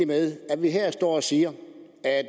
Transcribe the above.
med at vi her står og siger